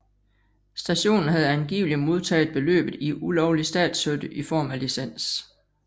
Stationen havde angiveligt modtaget beløbet i ulovlig statsstøtte i form af licens